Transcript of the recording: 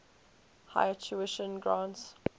higher tuition grants